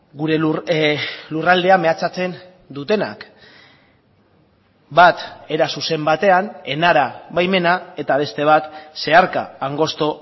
gure lurraldea mehatxatzen dutenak bat era zuzen batean enara baimena eta beste bat zeharka angosto